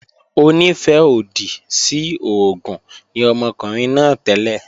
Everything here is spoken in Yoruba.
Onífẹ́-òdì sí oògùn ni ọmọkùnrin náà tẹ́lẹ̀